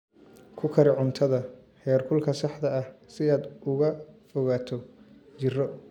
Ku kari cuntada heerkulka saxda ah si aad uga fogaato jirro.